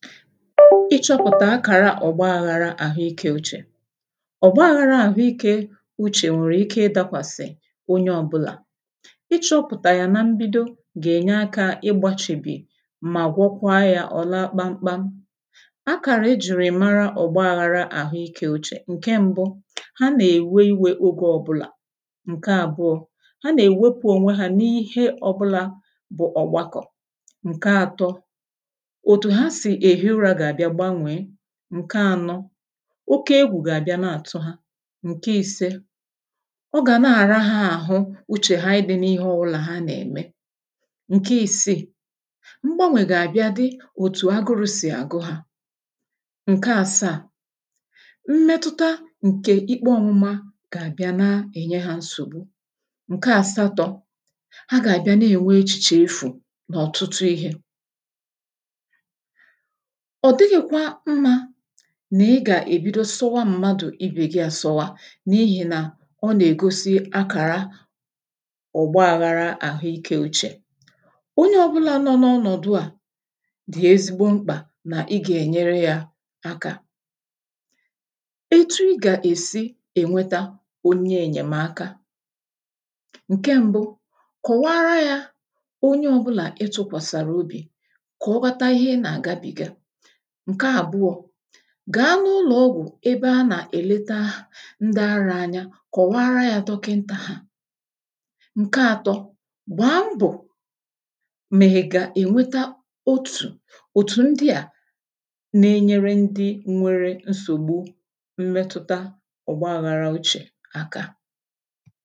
ịchọ̇pụ̀ta akàra ọ̀gbaaghȧrȧ àhụikė uchè ọ̀gbaaghȧrȧ àhụikė uchè nwèrè ike ịdȧkwàsị̀ onye ọ̇bụlà ịchọ̇pụ̀tà yà na mbido gà-ènye akȧ ịgbȧchìbì ma gwọkwa yȧ ọ̀ la kpamkpȧ akàrà ejùrù ị̀mara ọ̀gbaaghȧrȧ àhụikė uchè ǹke mbụ ha nà-èwe inwė ogė ọbụlà ǹke àbụọ̇ ha nà-èwepu ọnwe hȧ n’ihe ọbụlà bụ ọ̀gbakọ̀ ǹke atọ ǹke ànọ oke egwù gà-àbịa nà-àtụ ha ǹke i̇se ọ gà na-àra ha àhụ uchè ha ànyị dị̇ n’ihe ọwụlà ha nà-ème ǹke isiì mgbanwè gà-àbịa di òtù agụrụ̇ sì àgụ ha ǹke àsaà mmetuta ǹkè ikpo ọmụma gà-àbịa na-ènye ha nsògbu ǹke àsatọ̇ ha gà-àbịa na-ènwe echìchè efù nọ̀ ọ̀tụtụ ihė ọ̀ dịghị̇kwa mmȧ nà ị gà-èbido sọwa mmadụ̀ ibè gị àsọwa n’ihì nà ọ nà-ègosi akàra ọ̀gbaȧghara àhụike ochè onye ọbụlȧ nọ n’ọnọ̀dụ à dị̀ ezigbo mkpà nà ị gà-ènyere yȧ aka etu ị gà-èsi ènweta onye ènyèmaka ǹke mbu kụ̀waara yȧ onye ọbụlà ị tụ̇kwàsàrà obì kà ọbata ihe nà àga bìga ǹke àbụọ̇ gà-anọ̇ụlọ̀ ọgwụ̀ ebe a nà-èlete ahụ̀ ndị arȧ anya kọ̀wara ya dọkịntà ha ǹke ȧtọ̇ gbàa mbọ̀ mèhèga ènweta otù òtù ndị à nà-enyere ndị nwere nsògbu mmetụta ọ̀gbaaghị àrȧ ochè àka